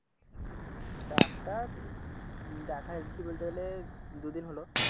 Doctor দেখাচ্ছি বলতে গেলে দুদিন হল।